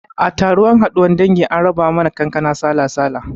A taron haduwan dangi an raba mana kankana sala-sala